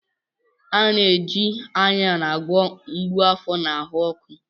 A na-eji Ayan agwọ mgbu afọ na ahụ ọkụ.